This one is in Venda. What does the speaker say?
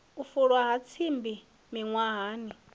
u fulwa ha tsimbi miṅwahani